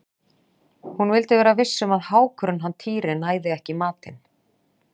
Hún vildi vera viss um að hákurinn hann Týri næði ekki í matinn.